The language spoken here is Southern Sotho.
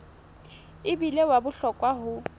e bile wa bohlokwa ho